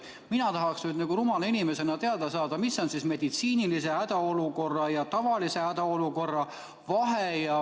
Mina tahaksin rumala inimesena teada saada, mis on meditsiinilise hädaolukorra ja tavalise hädaolukorra vahe?